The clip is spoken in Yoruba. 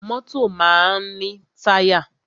Mọ́tọ̀ máa ń ní táyà.